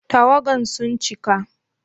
Tawagan sun cika?